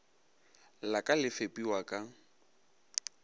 la ka le fepiwa ka